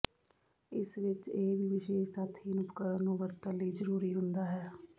ਇਸ ਵਿਚ ਇਹ ਵੀ ਵਿਸ਼ੇਸ਼ ਤਥਹੀਣ ਉਪਕਰਣ ਨੂੰ ਵਰਤਣ ਲਈ ਜਰੂਰੀ ਹੁੰਦਾ ਹੈ